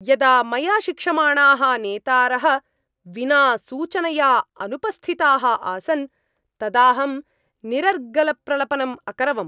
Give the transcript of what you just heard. यदा मया शिक्षमाणाः नेतारः विना सूचनया अनुपस्थिताः आसन्, तदाहं निरर्गलप्रलपनम् अकरवम्।